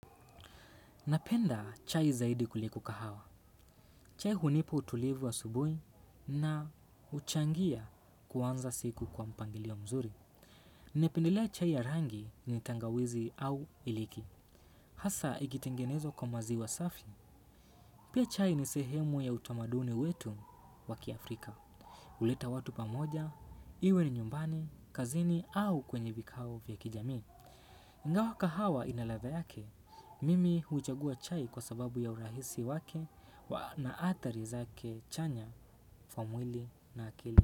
Napenda chai zaidi kuliko kahawa. Chai hunipa utulivu asubuhi na huchangia kuanza siku kwa mpangilio mzuri. Napendelea chai ya rangi na tangawizi au iliki. Hasa, ikitengenezwa kwa maziwa safi. Pia chai ni sehemu ya utamaduni wetu wa kiAfrika. Huleta watu pamoja iwe ni nyumbani, kazini au kwenye vikao vya kijamii. Ingawa kahawa ina ladha yake, mimi huchagua chai kwa sababu ya urahisi wake na athari zake chanya hufa mwili na akili.